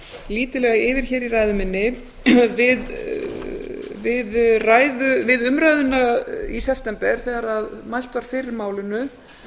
lítillega yfir hér í ræðu minni við umræðuna í september þegar mælt var fyrir málinu